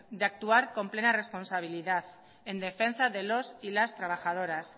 de actuar con plena responsabilidad en defensa de los y las trabajadoras